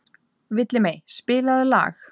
Villimey, spilaðu lag.